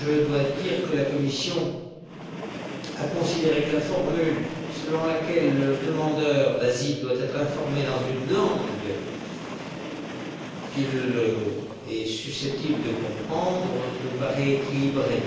Je dois dire que la Commission a considéré que la formule selon laquelle le demandeur d'asile devait être informé dans une langue qu'il est susceptible de comprendre nous paraissait équilibrée.